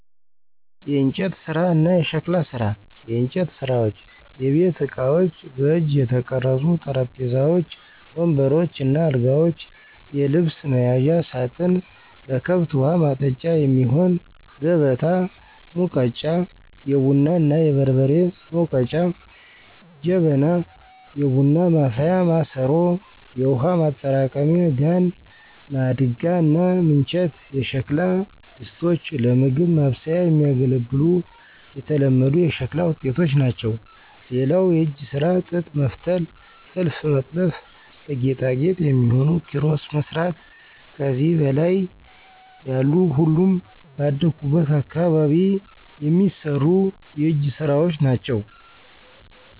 **የእንጨት ስራ እና የሸክላ ስራ፦ *የእንጨት ስራዎች * የቤት እቃዎች: በእጅ የተቀረጹ ጠረጴዛዎች፣ ወንበሮች እና አልጋዎች፣ የልብስ መያዣ ሳጥን፣ ለከብት ውሀ ማጠጫ የሚሆን ከበታ፣ ሙገጫ(የቡና እና የበርበሬ መውገጫ) ጀበና (የቡና ማፍያ ማሰሮ)፣ የውሃ ማጠራቀሚያ ጋን፣ ማድጋ እና ምንቸት የሸክላ ድስቶች ለምግብ ማብሰያ የሚያገለግሉ የተለመዱ የሸክላ ውጤቶች ናቸው። *ሌላው የእጅ ስራ ጥጥ መፍተል *ጥልፍ መጥለፍ *ለጌጣጌጥ የሚሆኑ ኪሮስ መስራት ከዚህ በላይ ያሉ ሁሉም ባደኩበት አካባቢ የሚሰሩ የእጅ ስራወች ናቸው።